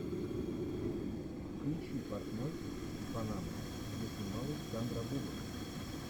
включи портной из панамы где снималась сандра буллок